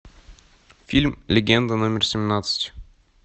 фильм легенда номер семнадцать